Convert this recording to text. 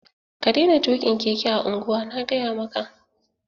Ka daina tukin keke a unguwa' Na gaya maka!